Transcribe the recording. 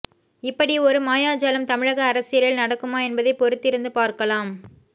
இப்படி ஒரு மாயாஜாலம் தமிழக அரசியலில் நடக்குமா என்பதை பொறுத்திருந்து பார்க்கலாம்